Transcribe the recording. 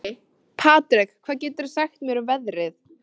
Patrek, hvað geturðu sagt mér um veðrið?